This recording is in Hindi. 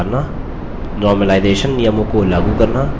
8 normalization सामान्यकरण नियमों को लागू करना